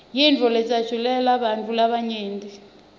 yintfo lejatjulelwa bantfu labanyenti